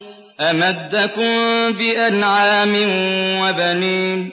أَمَدَّكُم بِأَنْعَامٍ وَبَنِينَ